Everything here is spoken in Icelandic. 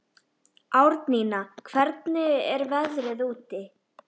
Árnína, hvernig er veðrið úti?